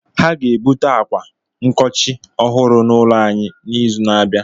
Ha ga-ebute ákwà nkochi ọhụrụ n’ụlọ anyị n’izu na-abịa.